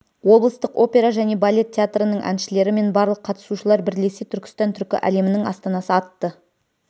облыстық опера және балет театрының әншілері мен барлық қатысушылар бірлесе түркістан түркі әлемінің астанасы атты